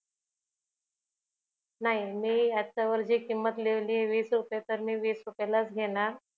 नाही मी याच्यावर जी किंमत लिहिलीय वीस रुपये तर मी वीस रुपयाला च घेणार